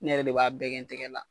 Ne yɛrɛ de b'a bɛɛ kɛ n tɛgɛ la